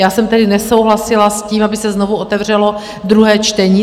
Já jsem tedy nesouhlasila s tím, aby se znovu otevřelo druhé čtení.